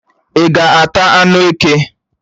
Ị́ ga-ata anụ eke?